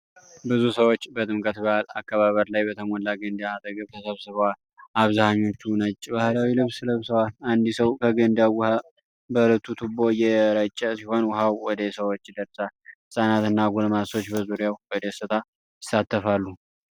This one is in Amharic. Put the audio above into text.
ብዙ ሰዎች በጥምቀት በዓል አከባበር ላይ በተሞላ ገንዳ አጠገብ ተሰብስበዋል። አብዛኞቹ ነጭ ባህላዊ ልብስ ለብሰዋል። አንድ ሰው ከገንዳው ውሃ በልዩ ቱቦ እየረጨ ሲሆን ውሃው ወደ ሰዎች ይደርሳል። ህፃናትና ጎልማሶች በዙሪያው በደስታ ይሳተፋሉ።